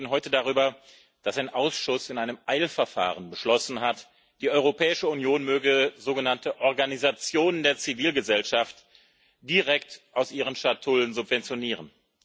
Wir reden heute darüber, dass ein Ausschuss in einem Eilverfahren beschlossen hat, die Europäische Union möge sogenannte Organisationen der Zivilgesellschaft direkt aus ihren Schatullen subventionieren.